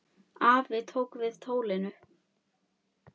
Afi tók við tólinu.